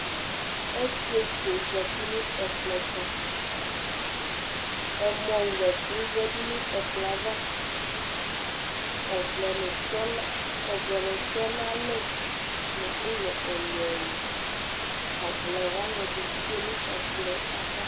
Ɔsɩetsu yɛ zati nʋ ɛkplɔ ɛtʋ Ɛmɔwlɛ ɛkʋ yǝdu nʋ ɛkplɔ yɛ ava Ɔvlɛnɩ tɔna, ɔvlɛnɩ tɛ nʋ alɛ nʋ ʋlɔ ɛlʋ-ɛlʋ Ɔvlɛ wanɩ ɛdɩ tsue nʋ ɛkplɔ yɛ ava